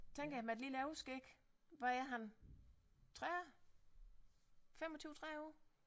Tænker jeg med et lille overskæg hvad er han 3 og 25 30 år